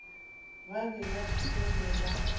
ba be ba fele ba